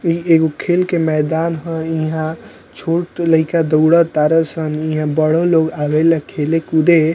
इ एगो खेल के मैदान ह | इहा छोट लइका दौड़ तारसन यहाँ बड़े लोग आवेला खेले कूदे |